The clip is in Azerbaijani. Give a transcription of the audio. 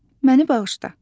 Məni bağışla.